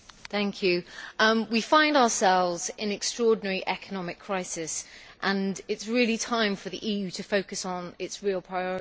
Madam President, we find ourselves in an extraordinary economic crisis and it is really time for the EU to focus on its real priorities.